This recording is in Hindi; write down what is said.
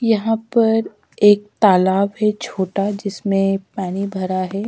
यहां पर एक तालाब है छोटा जिसमें पानी भरा है।